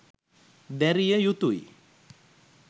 දැරිය යුතු ය.